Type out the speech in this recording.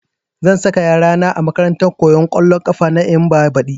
Zan saka yara na a makarantar koyan ƙwallon ƙafa na Eyimba badi